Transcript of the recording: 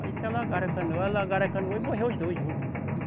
Aí se alagaram a canoa, alagaram a canoa e morreu os dois juntos.